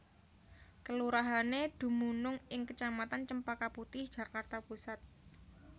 Kelurahané dumunung ing kecamatan Cempaka Putih Jakarta Pusat